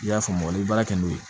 I y'a faamu i bɛ baara kɛ n'o ye